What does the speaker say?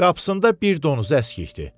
Qapısında bir donuzu əskikdir.